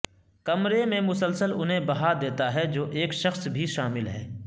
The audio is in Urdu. کمرے میں مسلسل انہیں بہا دیتا ہے جو ایک شخص بھی شامل ہے